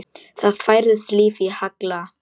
Það færðist líf í Halla.